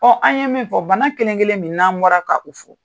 an ye min fɔ, bana kelenkelen min n'an bɔra ka u fo,